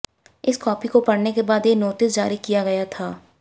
इस कॉपी को पढ़ने के बाद ये नोटिस जारी किया गया था